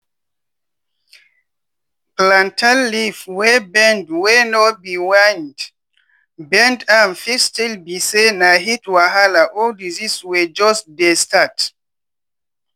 plantain leaf wey bend wey no be wind bend am fit still be say na heat wahala or disease wey jus dey start